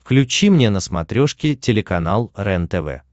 включи мне на смотрешке телеканал рентв